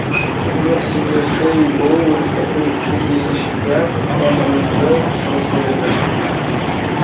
пригнув к земле шею и голову растопырив крылья и шипя прямо на неё шёл серый гусь